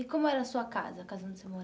E como era a sua casa, a casa onde você